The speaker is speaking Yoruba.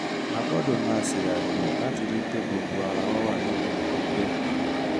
a gbọ́dọ̀ máa ṣe àyẹ̀wò láti rí i pé gbogbo ara wà ní ìlera pípé